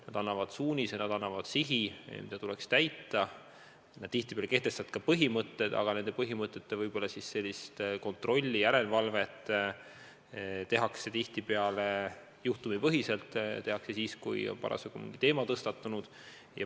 Nad annavad suunise, nad annavad sihi ja nad tihtipeale kehtestavad ka põhimõtted, aga nende põhimõtete järgimise kontrolli, järelevalvet tehakse tihtipeale juhtumipõhiselt, tehakse siis, kui on mingi teema tõstatunud.